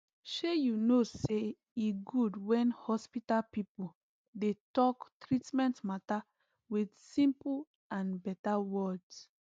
shey you no saye good when hospital pipo dey talk treatment matter with simple and better words